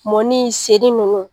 Mɔni, seri nunnu.